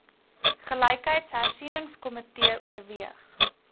gelykheidshersieningsko mitee oorweeg